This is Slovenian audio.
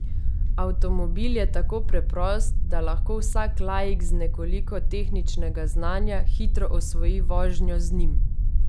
Avtomobil je tako preprost, da lahko vsak laik z nekoliko tehničnega znanja hitro osvoji vožnjo z njim.